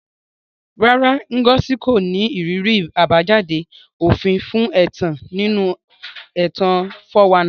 Rárá, Ngozi kò ní ìrírí àbájáde òfin fún ẹ̀tàn nínú ẹ̀tàn 419.